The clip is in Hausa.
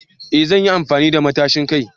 Eh zan yi amfani da matacin kai